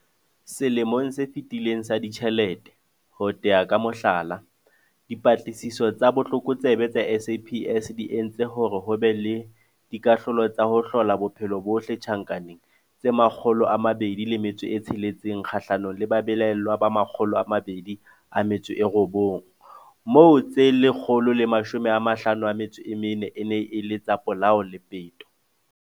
Selemong se fetileng sa ditjhelete, ho tea ka mohlala, Dipatlisiso tsa Botlokotsebe tsa SAPS di entse hore ho be le dikahlolo tsa ho hlola bophelo bohle tjhankaneng tse 206 kgahlanong le babelaellwa ba 209, moo tse 154 e neng e le tsa polao le peto.